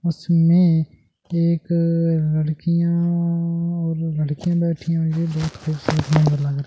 उसमें एक अ लड़कियां यां और लड़कियां बैठी हुई है बहुत खूबसूरत नजारा लग रहा है ।